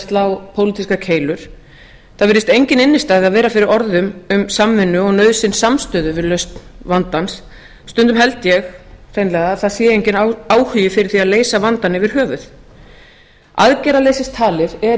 slá pólitískar keilur það virðist engin innstæða vera fyrir orðum um samvinnu og nauðsyn samstöðu við lausn vandans stundum held ég hreinlega að það sé enginn áhugi fyrir því að leysa vandann yfir höfuð aðgerðaleysistalið er ein